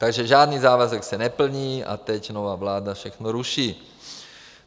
Takže žádný závazek se neplní a teď nová vláda všechno ruší.